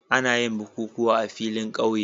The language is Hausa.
Ana yin bukukuwa a filin ƙauye